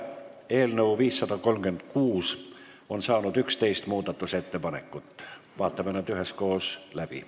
Eelnõu 536 on saanud 11 muudatusettepanekut, vaatame need üheskoos läbi.